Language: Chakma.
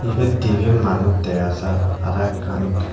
ebet dibey manus dega jaar aro ekkan.